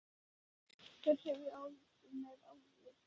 Hver hefur eftirlit með eftirlitinu?